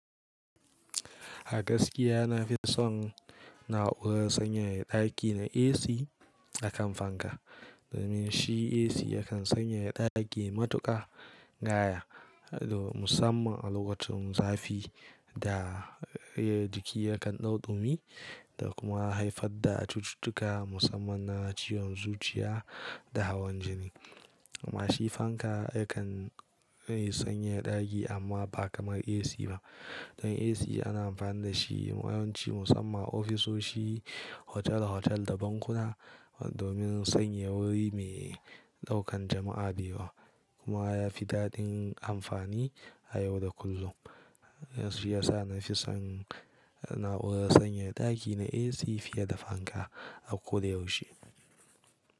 A gaskiya na fi son na'urar sanyaya ɗaki na AC akan fanka. Domin shi AC yakan sanyaya ɗaki matuƙa, gaya musamman a lokacin zafi da jiki yakan ɗauɗumi da kuma haifar da cututtuka musamman na ciwon zuciya da hawan jini. Amma shi fanka yakan yi sanyaya ɗaki amma ba kamar AC ba. Don AC ana amfani da shi yawanci musamman ofisoshi, otal-otal da bankuna domin sanyaya wuri mai ɗaukan jama'a da yawa. Kuma yafi daɗin amfani a yau da kullum. Shi yasa na fi son na'urar sanyaya ɗaki na AC fiye da fanka a koda yaushe.